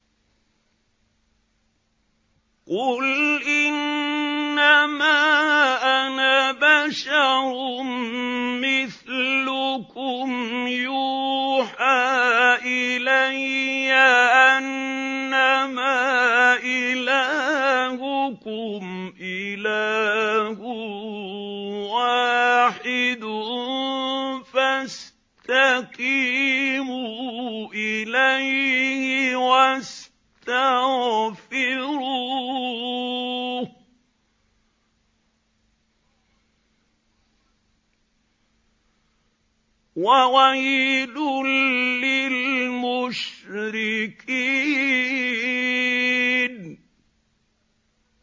قُلْ إِنَّمَا أَنَا بَشَرٌ مِّثْلُكُمْ يُوحَىٰ إِلَيَّ أَنَّمَا إِلَٰهُكُمْ إِلَٰهٌ وَاحِدٌ فَاسْتَقِيمُوا إِلَيْهِ وَاسْتَغْفِرُوهُ ۗ وَوَيْلٌ لِّلْمُشْرِكِينَ